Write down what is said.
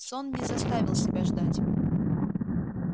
сон не заставил себя ждать